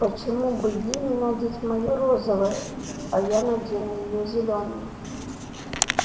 почему бы ей не надеть моё розовое а я надену её зелёное